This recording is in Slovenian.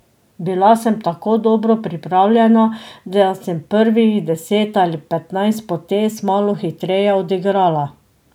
Bila sem tako dobro pripravljena, da sem prvih deset ali petnajst potez malo hitreje odigrala.